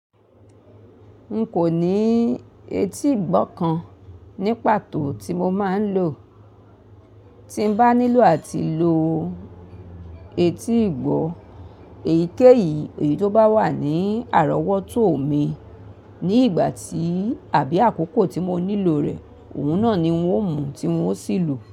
N kò ní etí ìgbọ́ kan ní pàtó tí mo máa ń lò. Tí n bá nílò àti lò etí ìgbọ́, èyíkéyìí, èyí tó bá wà ní àrọ́wọ́tò mi ní ìgbà tí àbí àkókò tí mo nílò rẹ̀, òun náà ni n ó mú tí n ó sì lò.